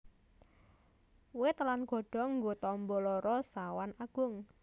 Wit lan godhong nggo tamba lara sawan agung